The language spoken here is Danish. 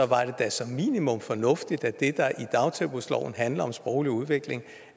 var det da som minimum fornuftigt at det der i dagtilbudsloven handler om sproglig udvikling